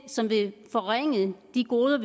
som vil forringe de goder